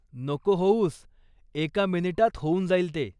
नको होऊस, एका मिनिटात होऊन जाईल ते.